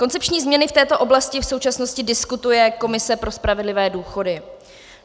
Koncepční změny v této oblasti v současnosti diskutuje Komise pro spravedlivé důchody.